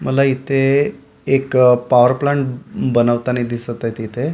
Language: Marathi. मला इथे एक अ पावर प्लांट बनवताना दिसत आहेत इथे .